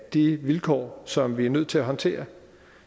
de vilkår som vi er nødt til at håndtere